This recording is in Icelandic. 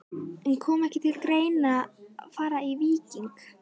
En kom ekki til greina að fara í Víking?